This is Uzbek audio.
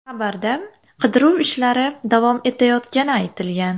Xabarda qidiruv ishlari davom etayotgani aytilgan.